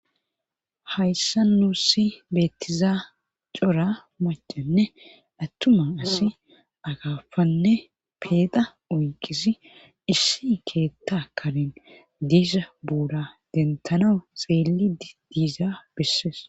Hayssa nuusi beettizaa cora macenne attuma asi agafanne peeqa uyqisi issi keetta kanen diisa buuda dentana xeeli d diiza bessees.